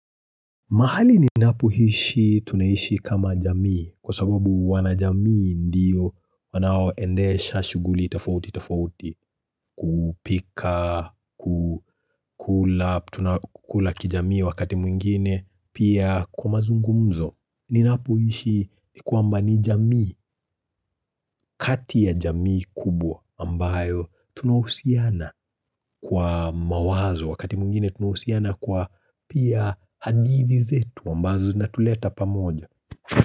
Mahali ni napohishi tunaishi kama jamii kwa sababu wana jamii ndiyo wanao endesha shuguli tafouti tafouti kupika, kukula kijamii wakati mwingine pia kwa mazungumzo. Ninapoishi ni kwamba ni jamii, kati ya jamii kubwa ambayo tunahousiana kwa mawazo wakati mwingine tunahousiana kwa pia hadithi zetu ambazo na tuleta pamoja.